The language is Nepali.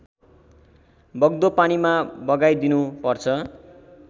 बग्दो पानीमा बगाइदिनुपर्छ